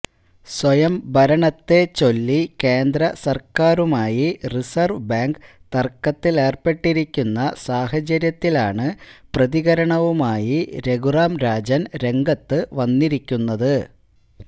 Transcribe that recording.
സ്വയംഭരണത്തെ ചൊല്ലി കേന്ദ്ര സർക്കാരുമായി റിസർവ് ബാങ്ക് തർക്കത്തിലേർപ്പെട്ടിരിക്കുന്ന സാഹചര്യത്തിലാണ് പ്രതികരണവുമായി രഘുറാം രാജൻ രംഗത്ത് വന്നിരിക്കുന്നത്